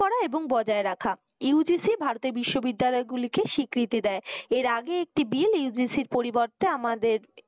করা এবং বজায় রাখা। UGC ভারতের বিশ্ববিদ্যালয় গুলি কে স্বীকৃতি দেয়। এর আগে একটি bill UGC এর পরিবর্তে আমাদের